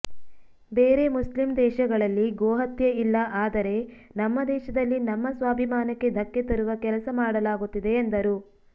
ಬೇರೆ ಮುಸ್ಲಿಂ ದೇಶಗಳಲ್ಲಿ ಗೋಹತ್ಯೆ ಇಲ್ಲ ಆದರೆ ನಮ್ಮ ದೇಶದಲ್ಲಿ ನಮ್ಮ ಸ್ವಾಭಿಮಾನಕ್ಕೆ ಧಕ್ಕೆ ತರುವ ಕೆಲಸ ಮಾಡಲಾಗುತ್ತಿದೆ ಎಂದರು